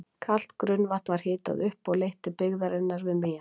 Kalt grunnvatn var hitað upp og leitt til byggðarinnar við Mývatn.